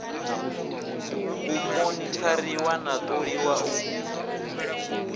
u monithariwa na ṱoliwa u